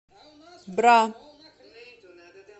бра